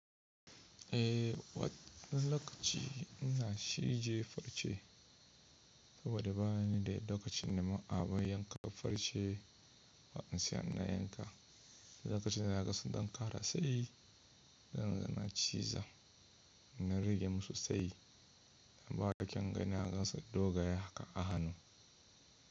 Eh, wani lokaci ina cije farce saboda bani da lokaci na ma abun yanka farce ba in sai na yanka. Lokaci na gasa don ƙara tsayi, zan zana ciza na rage musu tsayi, bayada ƙyan gani na gasa dogaye haka a hannu.